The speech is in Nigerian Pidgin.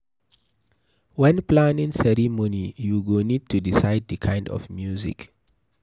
When planning ceremony, you go need to decide di kind of music